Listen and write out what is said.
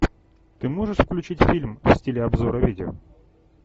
ты можешь включить фильм в стиле обзора видео